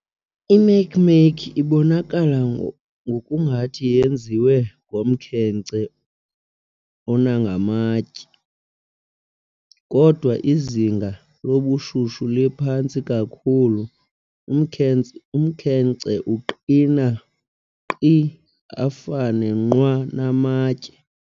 I-Makemake ibonakala ngokungathi yenziwe ngomkhenkce onangamantye. kodwa izinga lobushushu liphantsi kakhulu, umkhenkce uqina nkqi ufane nqwa namatye.